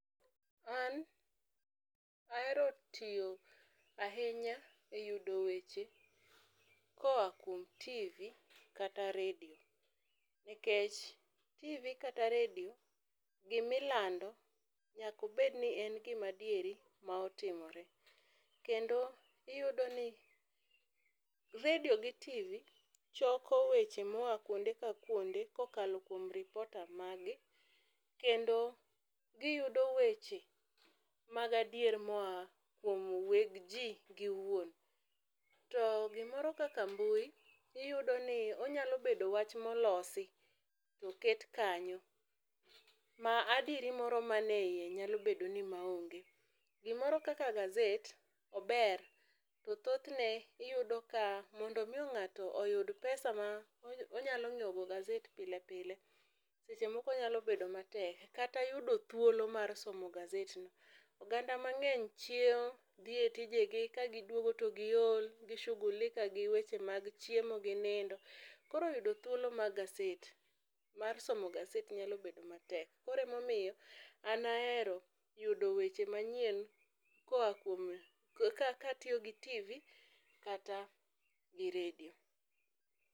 An ahero tiyo ahinya e yudo weche ka oa kuom tivi kata redio nikech tivi kata redio gi ma ilando nyaka obed ni en gi ma adieri ma otimore. Kendo iyudo ni redio gi tivi choko weche ma oa kuonde ka kuonde ka okalo kuom reporter mar gi kendo gi yudo weche mag adier ma oa kuom weg ji gi wuon. To gi moro kaka mbui iyudo ni onyalo bedo wach ma olosi to oket kanyo ma adieri moro ma ne iye nyalo bedo ni ma onge. Gi moro kaka gazet ober to thoth ne iyudo ka mondo mi ng'ato oyud pesa ma onyalo ngiewo gazet pile pile seche moko nyalo bedo matek. Kata yudo thuolo mar somo gazet no, oganda mang'eny chiewo ,dhi e tije gi ka gi dwogo gi olgi shughulika gi weche mag chiemo gi nindo koro yudo thuolo mar gazet mar somo gazet nyalo bedo ma tek koro ema omiyo an ahero yudo weche ma nyien ka atiyo gi tivi kata redio.